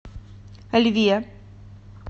льве